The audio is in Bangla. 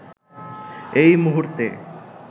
এই মুহূর্তে